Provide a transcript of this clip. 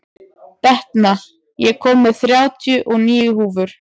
Benta, ég kom með þrjátíu og níu húfur!